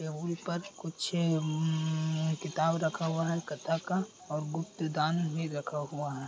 ये ऊपर कुछ हम्म्म्म किताब रखा हुआ है कथा का और गुप्त दान भी रखा हुआ है।